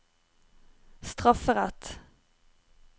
strafferett